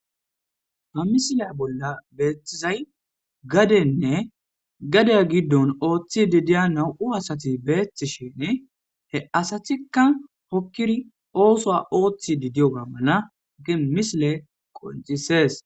ha misiliya bolla beethtizay gadenne gadeya giddon ooththi didiya na7u asati beettishin he asatikka hokkiri oosoa ooththi didiyoga mala ge misile qoncisees